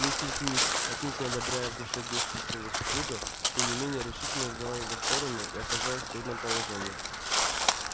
миссис мид отнюдь не одобряя в душе действий своего супруга тем не менее решительно взяла его сторону и оказалась в трудном положении